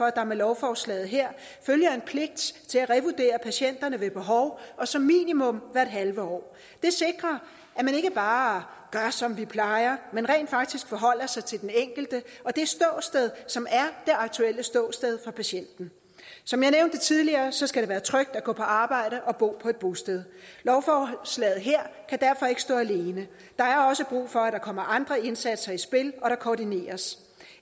at der med lovforslaget her følger en pligt til at revurdere patienterne ved behov og som minimum hvert halve år det sikrer at man ikke bare gør som vi plejer men rent faktisk forholder sig til den enkelte og det ståsted som er det aktuelle ståsted for patienten som jeg nævnte tidligere skal det være trygt at gå på arbejde og bo på et bosted lovforslaget her kan derfor ikke stå alene der er også brug for at der kommer andre indsatser i spil og at der koordineres